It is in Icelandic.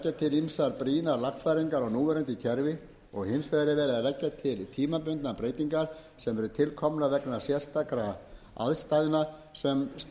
lagfæringar á núverandi kerfi og hins vegar er verið að leggja til tímabundnar breytingar sem til eru komnar vegna sérstakra aðstæðna sem